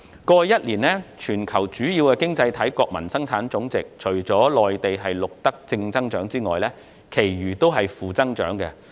過去一年，觀乎全球主要經濟體的國民生產總值，除內地錄得正增長外，其餘均錄得負增長。